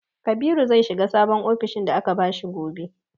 Kabiru zai shiga sabon ofishin da aka bashi gobe.